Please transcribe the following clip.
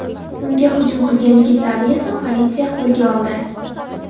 Unga hujum qilgan yigitlarni esa politsiya qo‘lga oldi.